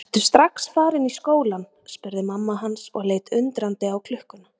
Ertu strax farinn í skólann spurði mamma hans og leit undrandi á klukkuna.